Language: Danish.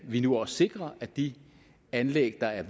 vi nu også sikrer at de anlæg der er